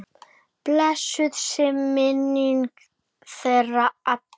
Blessuð sé minning þeirra allra.